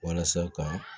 Walasa ka